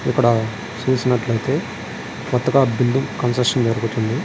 ఇక్కడ చుసినటు అయతె కోతగా బిల్డింగ్ కన్స్ట్రక్షన్ జరుగుతుంది.